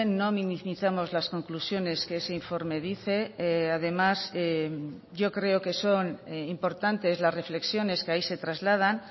no minimizamos las conclusiones que ese informe dice además yo creo que son importantes las reflexiones que ahí se trasladan